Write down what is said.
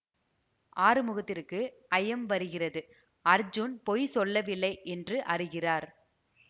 ஆறுமுகத்திற்கு ஐயம் வருகிறது அர்ஜுன் பொய் சொல்லவில்லை என்று அறிகிறார்